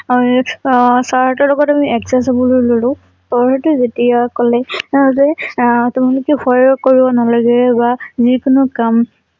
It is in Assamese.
আৰু আহ চাৰ হঁতৰ লগত আমি adjust হবলৈ ললো যেতিয়া কলে তেওঁ যে আহ তোমালোকে ভয় নকৰিবা তোমালোকে ভয় কৰিব নালাগে বা জি কোনো কাম